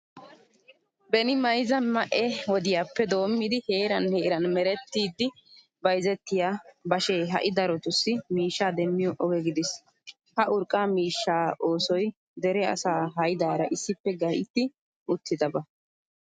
Beni mayzza ma"e wodiyappe doommidi heeran heeran merettidi bayzettiya bashee ha"i darotussi miishshaa demmiyo oge gidiis. Ha urqqa miishshaa oosoy dere asaa haydaara issippe gaytti uttidaba.